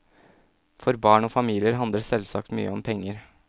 For barn og familier handler selvsagt mye om penger.